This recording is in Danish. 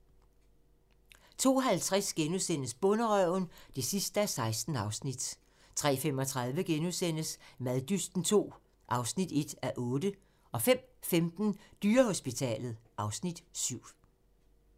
02:50: Bonderøven (16:16)* 03:35: Maddysten II (1:8)* 05:15: Dyrehospitalet (Afs. 7)